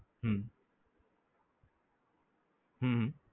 હમ હમ